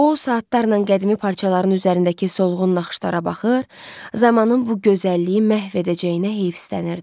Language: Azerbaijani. O saatlarla qədimi parçaların üzərindəki solğun naxışlara baxır, zamanın bu gözəlliyi məhv edəcəyinə heyfsilənirdi.